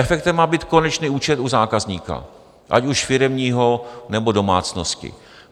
Efektem má být konečný účet u zákazníka, ať už firemního, nebo domácnosti.